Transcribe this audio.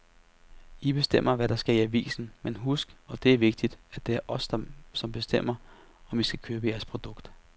I bestemmer, hvad der skal i avisen, men husk, og det er vigtigt, at det er os, som bestemmer, om vi vil købe jeres produkt.